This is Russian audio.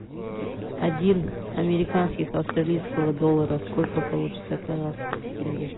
один американских австралийского доллара сколько получится казахских тенге